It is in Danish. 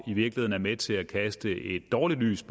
i virkeligheden med til at kaste dårligt lys